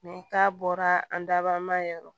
k'a bɔra an daba ma yɔrɔ